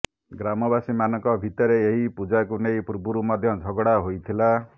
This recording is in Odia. ଗ୍ରାମବାସୀମାନଙ୍କ ଭିତରେ ଏହି ପୂଜାକୁ ନେଇ ପୂର୍ବରୁ ମଧ୍ୟ ଝଗଡା ହୋଇଥିଲା